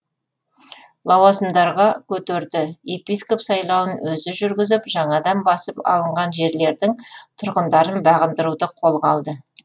лауазымдарға көтерді епископ сайлауын өзі жүргізіп жаңадан басып алынған жерлердің тұрғындарын бағындыруды қолға алды